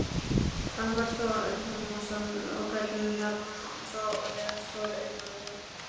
Telma Tómasson: Og gæti þetta þá orðið stór iðnaður?